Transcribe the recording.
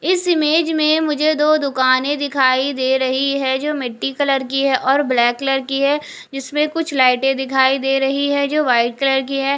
इस इमेज में मुझे दो दुकाने दिखाई दे रही हैं जो मिट्टी कलर की है और ब्लैक कलर की है इसमें कुछ लाइटे दिखाई दे रही है जो व्हाइट कलर की है।